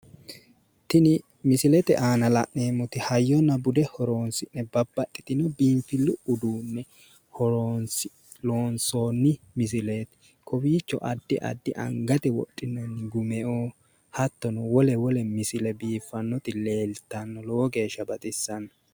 Tini misilete aana la'neemmoti hayyonna bude horoonsi'ne babbaxxitino biinfillu uduunne horoonsi'ne loonsoonni misileeti. Kowiicho addi addi angate wodhinanni gumeoo hattono wole wole misile biiffannoti leeltanno. Lowo geeshsha baxissanno.